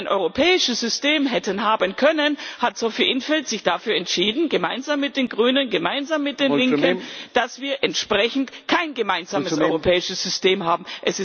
Als wir ein europäisches System hätten haben können, hat Sophie in 't Veld sich dafür entschieden, gemeinsam mit den Grünen, gemeinsam mit den Linken, dass wir entsprechend kein gemeinsames europäisches System haben.